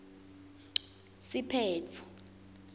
siphetfo